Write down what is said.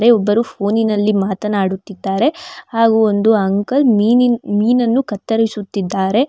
ಒಬ್ಬರು ಫೋನಿನಲ್ಲಿ ಮಾತನಾಡುತ್ತಿದ್ದಾರೆ ಹಾಗು ಒಂದು ಅಂಕಲ್ ಮೀನಿ ಮೀನನ್ನು ಕತ್ತರಿಸುತ್ತಿದ್ದಾರೆ.